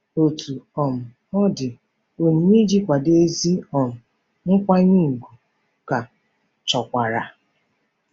Otú um ọ dị, onyinye iji kwado ezi um nkwanye ùgwù ka chọkwara.